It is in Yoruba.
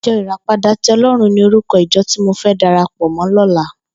Ijò iràpádà ti Òlòrún ni órúkò ijò ti mó fè dàrápò mò lòlá